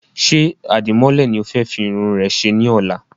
Ṣé Àdìmọ́lẹ̀ ni o fẹ́ fi Irun rẹ ṣe ní ọ̀la?